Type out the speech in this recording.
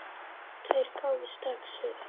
Tveir gáfust strax upp.